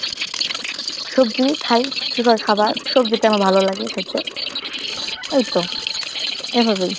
সবজি খাই পুষ্টিকর খাবার সবজিটাই আমার ভালোলাগে খাইতে এইতো এভাবেই।